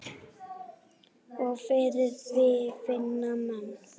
Og fyrir því finna menn.